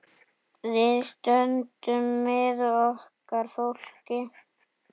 Við stöndum með okkar fólki.